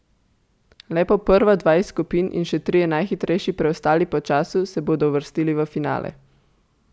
Le po prva dva iz skupin in še trije najhitrejši preostali po času se bodo uvrstili v finale.